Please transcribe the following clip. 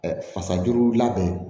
Fasajuru ladon